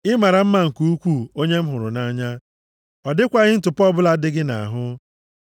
Ị mara mma nke ukwuu, onye m hụrụ nʼanya, ọ dịkwaghị ntụpọ + 4:7 \+xt Efe 5:27\+xt* ọbụla dị gị nʼahụ.